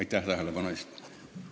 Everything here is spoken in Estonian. Aitäh tähelepanu eest!